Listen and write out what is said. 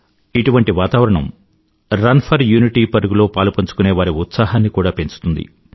ఇటువంటి వాతావరణం run for unity పరుగులో పాలుపంచుకునేవారి ఉత్సాహాన్ని కూడా పెంచుతుంది